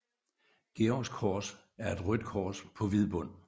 Georgs Kors er et rødt kors på hvid bund